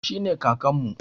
Shi ne Kakanmu.